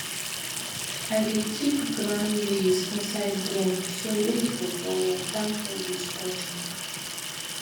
i dey keep ground maize inside drum so weevil or water no go spoil am